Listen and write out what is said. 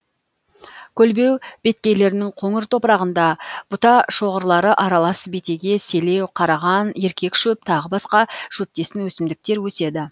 көлбеу беткейлерінің қоңыр топырағында бұта шоғырлары аралас бетеге селеу қараған еркек шөп тағы басқа шөптесін өсімдіктер өседі